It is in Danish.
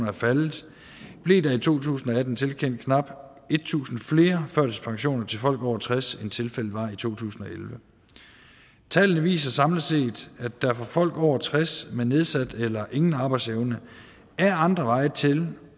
er faldet blev der i to tusind og atten tilkendt knap tusind flere førtidspensioner til folk over tres år end tilfældet var i to tusind og elleve tallene viser samlet set at der for folk over tres år med nedsat eller ingen arbejdsevne er andre veje til